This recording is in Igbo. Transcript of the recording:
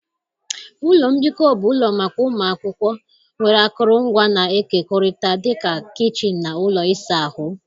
Ụlọ mbikọ bụ ụlọ maka ụmụ akwụkwọ, nwere akụrụngwa na-ekekọrịta dị ka kichin na ụlọ ịsa ahụ.